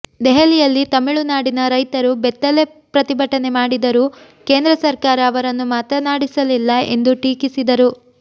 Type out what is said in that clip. ದೆಹಲಿಯಲ್ಲಿ ತಮಿಳುನಾಡಿನ ರೈತರು ಬೆತ್ತಲೆ ಪ್ರತಿಭಟನೆ ಮಾಡಿದರೂ ಕೇಂದ್ರ ಸರ್ಕಾರ ಅವರನ್ನು ಮಾತನಾಡಿಸಲಿಲ್ಲ ಎಂದು ಟೀಕಿಸಿದರು